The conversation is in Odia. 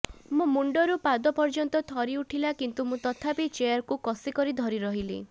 ମୋ ମୁଣ୍ଡରୁ ପାଦ ପର୍ଯ୍ୟନ୍ତ ଥରିଉଠିଲା କିନ୍ତୁ ମୁଁ ତଥାପି ଚେୟାରକୁ କଷି କରି ଧରିରହିଥିଲି